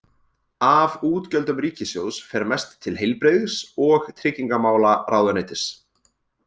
Af útgjöldum ríkissjóðs fer mest til heilbrigðis- og tryggingamálaráðuneytis.